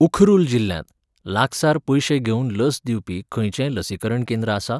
उखरुल जिल्ल्यांत लागसार पयशे घेवन लस दिवपी खंयचेंय लसीकरण केंद्र आसा?